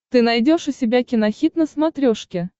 ты найдешь у себя кинохит на смотрешке